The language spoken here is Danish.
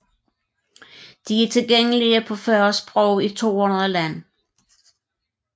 De er tilgængelige på 40 sprog i 200 lande